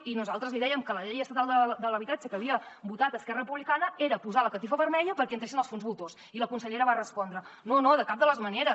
i nosaltres li dèiem que la llei estatal de l’habitatge que havia votat esquerra republicana era posar la catifa vermella perquè hi entressin els fons voltors i la consellera va respondre no no de cap de les maneres